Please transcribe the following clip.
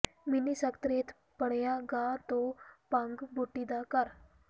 mini ਸਕੱਤਰੇਤ ਬਣਿਆ ਘਾਹ ਤੇ ਭੰਗ ਬੂਟੀ ਦਾ ਘਰ